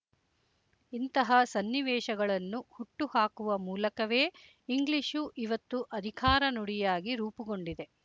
ಇಂತಹ ಸನ್ನಿವೇಶಗಳನ್ನು ಹುಟ್ಟು ಹಾಕುವ ಮೂಲಕವೇ ಇಂಗ್ಲಿಶು ಇವತ್ತು ಅಧಿಕಾರ ನುಡಿಯಾಗಿ ರೂಪುಗೊಂಡಿದೆ